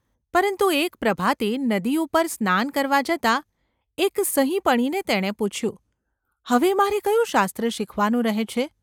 પરંતુ એક ​ પ્રભાતે નદી ઉપર સ્નાન કરવા જતાં એક સહીપણીને તેણે પૂછ્યું,: ‘હવે મારે કયું શાસ્ત્ર શીખવાનું રહે છે?